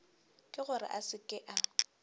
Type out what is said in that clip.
ke gore a se ke